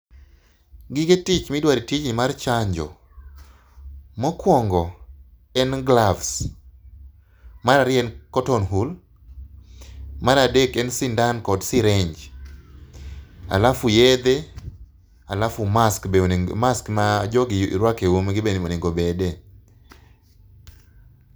Gige tich midwaro e tijni mar chanjo. Mokuongo en gloves, mar ariyo en cotton wool, mar adek en sindan kod syringe halafu yedhe halafu be onego, mask ma jogi ruako e umgi be onego obede.